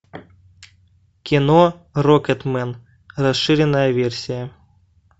кино рокетмен расширенная версия